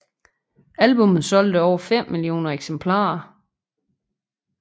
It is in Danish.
Albummet solgte over 5 millioner eksemplarer